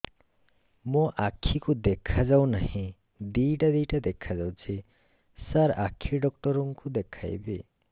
ମୋ ଆଖିକୁ ଦେଖା ଯାଉ ନାହିଁ ଦିଇଟା ଦିଇଟା ଦେଖା ଯାଉଛି ସାର୍ ଆଖି ଡକ୍ଟର କୁ ଦେଖାଇବି